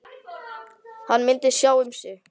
Hann myndi sjá um sig.